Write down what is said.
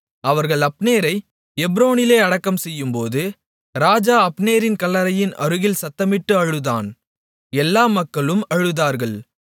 அவர்கள் அப்னேரை எப்ரோனிலே அடக்கம்செய்யும்போது ராஜா அப்னேரின் கல்லறையின் அருகில் சத்தமிட்டு அழுதான் எல்லா மக்களும் அழுதார்கள்